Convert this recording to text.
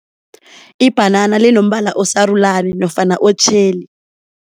Ibhanana linombala osarulani nofana otjheli.